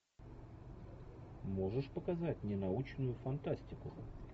можешь показать мне научную фантастику